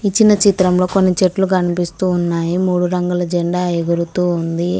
ఇచ్చిన చిత్రంలో కొన్ని చెట్లు కనిపిస్తూ ఉన్నాయి మూడు రంగుల జెండా ఎగురుతూ ఉంది.